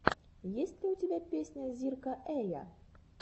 есть ли у тебя песня зирка эя